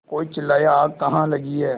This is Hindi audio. कोई चिल्लाया आग कहाँ लगी है